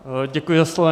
Děkuji za slovo.